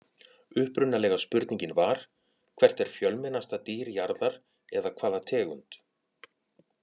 Upprunalega spurningin var: Hvert er fjölmennasta dýr jarðar eða hvaða tegund?